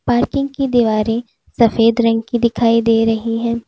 Parking की दीवारें सफेद रंग की दिखाई दे रही हैं।